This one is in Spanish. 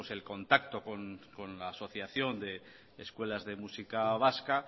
el contacto con la asociación de escuelas de música vasca